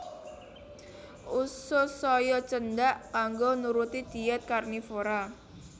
Usus saya cendhak kanggo nuruti dhièt karnivora